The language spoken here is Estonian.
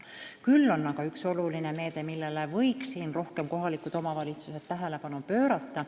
Veel on aga üks oluline meede, millele kohalikud omavalitsused võiksid rohkem tähelepanu pöörata.